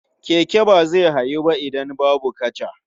Keke ba zai hawu ba idan babu kaca.